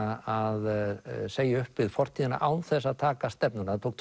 að segja upp við fortíðina án þess að taka stefnuna það tók